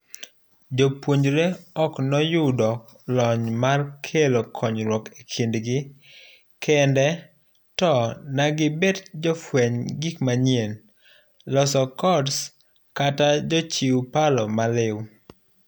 Jopuonjre ok noyudo lony mar kelo konyruok ekindgi kende to negibet jofueny gik manyien, loso codes kata jochiw paro maliw.